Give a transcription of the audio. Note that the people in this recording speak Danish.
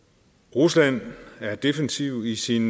rusland er defensiv i sine